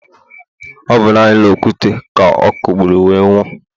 ọ bụ naanị okwute ka ọ kụgburu wee nwụọ.